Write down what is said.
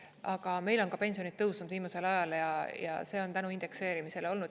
Aga meil on pensionid tõusnud viimasel ajal ja see on tänu indekseerimisele olnud.